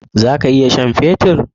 Zaka iya sha'n fetur?